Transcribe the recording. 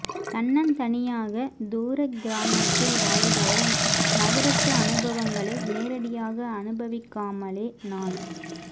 தன்னந்தனியாகத் தூரக் கிராமத்தில் வாழ்பவள் நகரத்து அனுபவங்களை நேரடியாக அனுபவிக்காமலே நான்